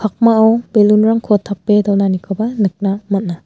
pakmao balloon-rangko tape donanikoba nikna man·a.